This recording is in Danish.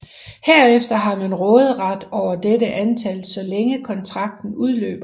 Herefter har man råderet over dette antal så længe kontrakten løber